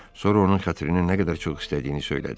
Sonra onun xətrini nə qədər çox istədiyini söylədi.